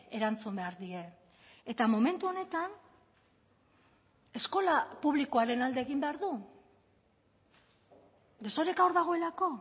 erantzun behar die eta momentu honetan eskola publikoaren alde egin behar du desoreka hor dagoelako